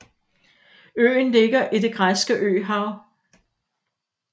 Øen ligger i Det græske Øhav